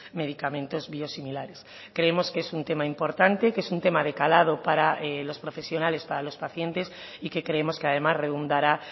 medicamentos biosimilares creemos que es un tema importante que es un tema de calado para los profesionales para los pacientes y que creemos que además redundará